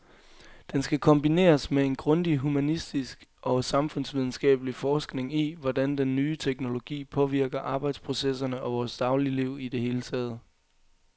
Den skal kombineres med en grundig humanistisk og samfundsvidenskabelig forskning i, hvordan den nye teknologi påvirker arbejdsprocesserne og vores dagligliv i det hele taget.